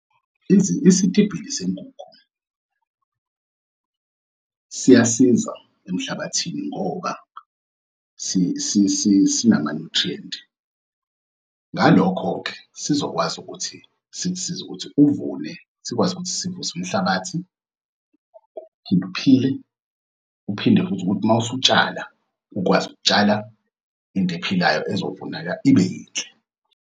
Isitibhili senkukhu siyasiza emhlabathini ngoba sinama-nutrient. Ngalokho-ke, sizokwazi ukuthi uthi sikusize ukuthi uvune, sikwazi ukuthi sivuse umhlabathi, uphile, uphinde futhi ukuthi uma usutshala, ukwazi ukutshala into ephilayo ezovuneka ibe yinhle.